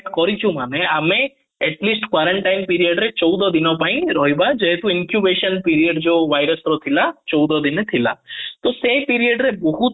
କରିଛୁ ମାନେ ଆମେ at least quarantine period ରେ ଚଉଦ ଦିନ ପାଇଁ ରହିବା ଯେହେତୁ inquisition period virus ର ଥିଲା ଚି଼ଡା ଦିନେ ଥିଲା ତ ସେ period ରେ ବହୁତ